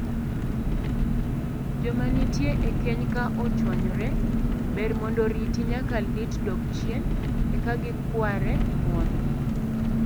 Joma nitie e keny ka ochwanyore, ber mondo riti nyaka lit dog chien eka gikware ng'uono.